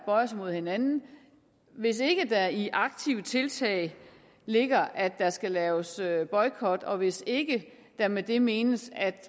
bøjes imod hinanden hvis ikke der i ordene aktive tiltag ligger at der skal laves boykot og hvis ikke der med det menes at